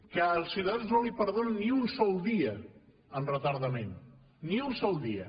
que als ciutadans no els perdonen ni un sol dia en retardament ni un sol dia